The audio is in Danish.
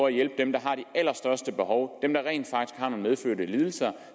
at hjælpe dem der har de allerstørste behov dem der rent faktisk har nogle medfødte lidelser er